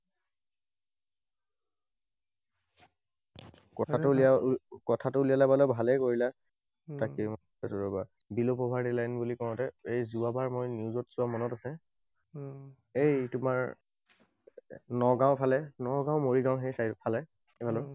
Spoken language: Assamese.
কথাটো উলিয়ালা বাৰু ভালেই কৰিলা। তাকেই মই কৈ আছো ৰবা। Below poverty line বুলি কওঁতে যোৱাবাৰ মই news ত চোৱা মনত আছে। এই তোমাৰ নগাওঁ ফালে, নগাওঁ, মৰিগাঁও সেই side ফালে সেইফালে